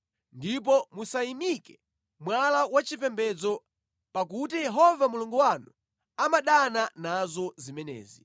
ndipo musayimike mwala wachipembedzo pakuti Yehova Mulungu wanu amadana nazo zimenezi.